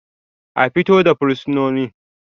A fito da fursunonin